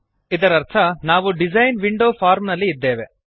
ಇದರರ್ಥ ನಾವು design window form ನಲ್ಲಿ ಇದ್ದೇವೆ